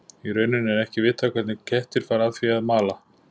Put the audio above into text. Í rauninni er ekki vitað hvernig kettir fara að því að að mala.